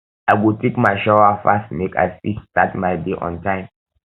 i go take my shower fast make i fit start my day on time